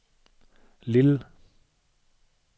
Lille